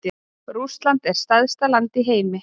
Rússland er stærsta land í heimi.